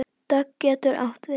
Dögg getur átt við